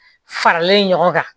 Faralen ɲɔgɔn kan